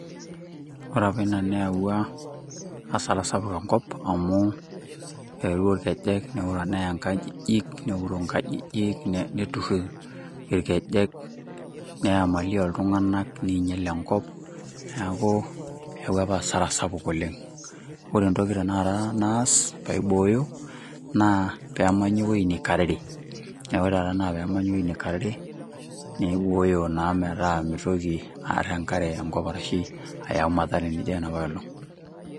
Ore apa ina neyaua asara sapuk enkop amu eetuo irkeek neya enkare nkajijik, neuroo nkajijik neturu irkejek ,neya mali oltunganak meinyal enkop ,neeku eyaua apa asara sapuk oleng, ore tenakata entoki naas ,pee aibooyo naa peemaji eweji nekarere naibooyo naa metaa mitoki enkare aya enkop ashu ayau mathara naijo enapoolong.